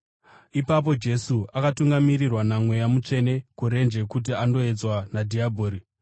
Ipapo Jesu akatungamirirwa naMweya Mutsvene kurenje kuti andoedzwa nadhiabhori.